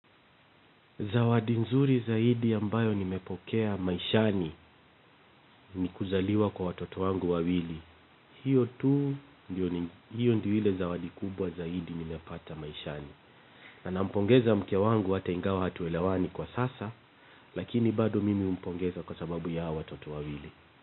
Zawadi nzuri zaidi ya mbayo nimepokea maishani ni kuzaliwa kwa watoto wangu wawili. Hiyo tu, hiyo ndio ile zawadi kubwa zaidi nimepata maishani. Na nampongeza mke wangu ata ingawa hatuelewani kwa sasa, lakini bado mimi humpongeza kwa sababu ya hao watoto wawili.